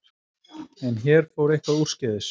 En hér fór eitthvað úrskeiðis.